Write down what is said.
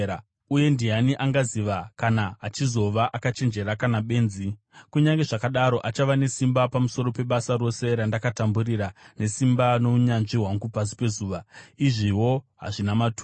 Uye ndiani angaziva kana achizova akachenjera kana benzi? Kunyange zvakadaro achava nesimba pamusoro pebasa rose randakatamburira nesimba nounyanzvi hwangu pasi pezuva. Izviwo hazvina maturo.